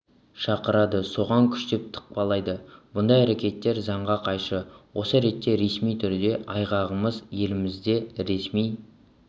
шақырады соған күштеп тықпалайды бұндай әрекеттер заңға қайшы осы ретте ресми түрде айпағымыз елімізде ресми